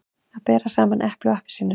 Að bera saman epli og appelsínur